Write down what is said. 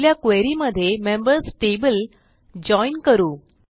आपल्या क्वेरी मध्ये members table join करू